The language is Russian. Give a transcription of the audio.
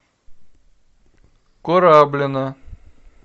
кораблино